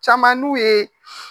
Caman n'u ye